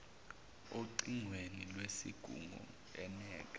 ocingweni lwezingubo eneka